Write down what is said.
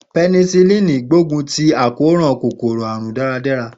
Penicillin gbógun ti àkóràn kòkòrò àrùn dáradára.